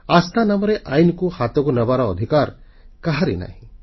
ଆସ୍ଥା ନାମରେ ଆଇନକୁ ହାତକୁ ନେବାର ଅଧିକାର କାହାରି ନାହିଁ